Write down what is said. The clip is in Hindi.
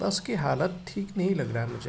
बस की हालत ठीक नहीं लग रहा मुझे।